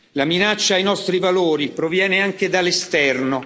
La minaccia ai nostri valori proviene anche dall'esterno.